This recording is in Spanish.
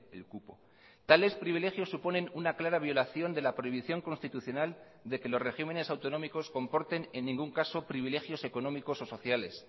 el cupo tales privilegios suponen una clara violación de la prohibición constitucional de que los regímenes autonómicos comporten en ningún caso privilegios económicos o sociales